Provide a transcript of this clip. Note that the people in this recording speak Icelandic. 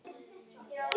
segir Pína.